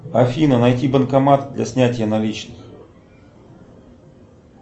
афина найти банкомат для снятия наличных